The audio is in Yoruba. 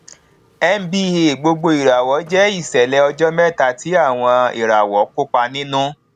nba gbogboìràwọ jẹ ìṣẹlẹ ọjọ mẹta tí àwọn ìràwọ kópa nínú